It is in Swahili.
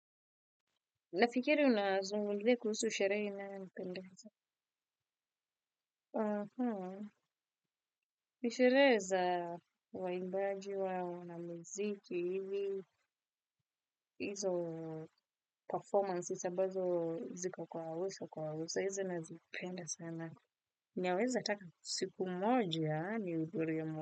Nafikiri unazungumzia kuhusu sherehe inayonipendeza. Aha, nisherehe za wa imbaji wao na muziki hivi. Hizo performances, ambazo ziko kwa uso kwa uso, hizi nazipenda sana. Ninaweza taka siku moja, nihudhurie moja.